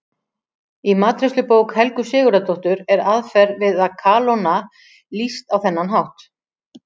Í matreiðslubók Helgu Sigurðardóttur er aðferð við að kalóna lýst á þennan hátt: